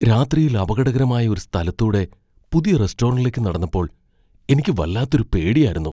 രാത്രിയിൽ അപകടകരമായ ഒരു സ്ഥലത്തൂടെ പുതിയ റെസ്റ്റോറൻ്റിലേക്ക് നടന്നപ്പോൾ എനിക്ക് വല്ലാത്തൊരു പേടിയാരുന്നു.